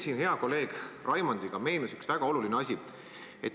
Meile hea kolleegi Raimondiga meenus üks väga oluline asi.